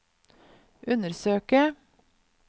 undersøke